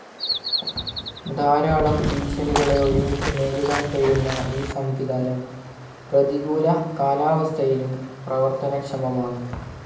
ധാരാളം ഭീഷണികളെ ഒരുമിച്ച് നേരിടാൻ കഴിയുന്ന ഈ സംവിധാനം പ്രതികൂല കാലാവസ്ഥയിലും പ്രവർത്തനക്ഷമമാണ്